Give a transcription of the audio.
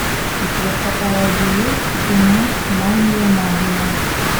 у тебя в каталоге есть кино магия магия